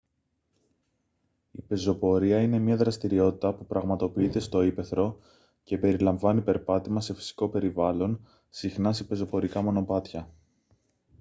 η πεζοπορία είναι μια δραστηριότητα που πραγματοποιείται στο ύπαιθρο και περιλαμβάνει περπάτημα σε φυσικό περιβάλλον συχνά σε πεζοπορικά μονοπάτια